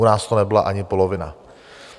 U nás to nebyla ani polovina.